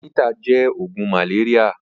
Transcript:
Atẹ̀mítà jẹ̀ ógùn màlériá